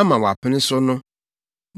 ama wɔapene so no.